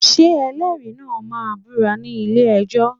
Ṣé ẹlẹ́rìí náà máa búra ní ilé-ẹjọ́?